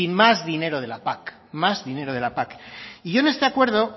más dinero de la pac más dinero de la pac y yo en este acuerdo